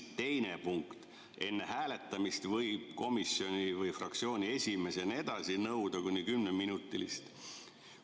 Teine punkt on, et enne hääletamist võib komisjoni või fraktsiooni esimees jne nõuda kuni kümneminutilist vaheaega.